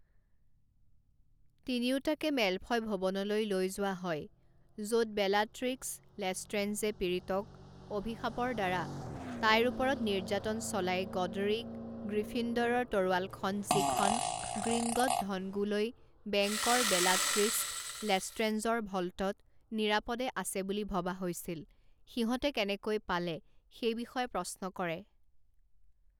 তিনিওটাকে Malfoy ভৱনলৈ লৈ যোৱা হয় য’ত বেলাট্ৰিস্ক লেষ্ট্ৰেঞ্জে পীড়িতক অভিশাপৰদ্বাৰা তাইৰ ওপৰত নিৰ্যাতন চলাই গডৰিক গ্ৰীফিন্দৰৰ তৰোৱালখন যিখন গ্ৰীংগট ধনগুলৈ বেংকৰ বেলাট্ৰিস্ক লেষ্ট্ৰেঞ্জৰ ভ'ল্টত নিৰাপদে আছে বুলি ভবা হৈছিল সিহঁতে কেনেকৈ পালে সেই বিষয়ে প্ৰশ্ন কৰে।